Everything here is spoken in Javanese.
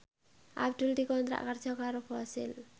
Abdul dikontrak kerja karo Fossil